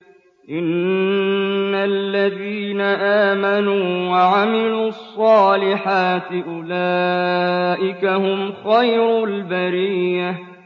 إِنَّ الَّذِينَ آمَنُوا وَعَمِلُوا الصَّالِحَاتِ أُولَٰئِكَ هُمْ خَيْرُ الْبَرِيَّةِ